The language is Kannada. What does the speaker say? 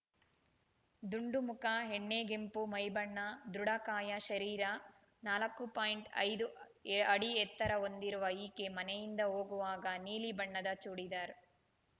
ದುಂಡು ಮುಖ ಎಣ್ಣೆಗೆಂಪು ಮೈಬಣ್ಣ ದೃಢಕಾಯ ಶರೀರ ನಾಲ್ಕು ಪಾಯಿಂಟ್ ಐದು ಅಡಿ ಎತ್ತರ ಹೊಂದಿರುವ ಈಕೆ ಮನೆಯಿಂದ ಹೋಗುವಾಗ ನೀಲಿ ಬಣ್ಣದ ಚೂಡಿದಾರ್